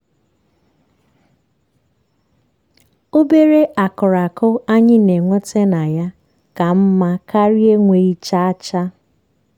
obere akụrụ akụ anyị na-enweta na ya ka mma karịa enweghi chaa chaa.